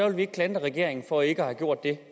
vi ikke klandre regeringen for ikke at have gjort det